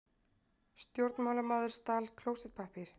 Stjórnmálamaður stal klósettpappír